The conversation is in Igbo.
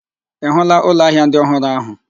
Ị hụụla ụlọ ahịa ndị ọhụrụ ahụ?